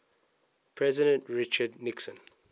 president richard nixon